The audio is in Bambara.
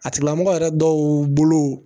A tigila mɔgɔ yɛrɛ dɔw bolo